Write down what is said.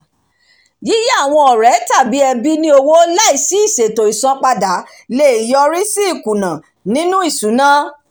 yíyá àwọn ọ̀rẹ́ tàbí ẹbí ní owó láìsí ìṣètò isanpada lè yọrí sí ikuna nínú ìṣúná